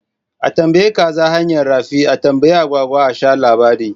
A tambayi kaza hanyar rafi? A tambayi agwagwa a sha labari